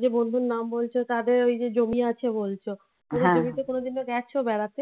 যে বন্ধুর নাম বলছো তাদের ওই যে জমি আছে বলছো জমিতে কোনদিন তো গেছ বেড়াতে?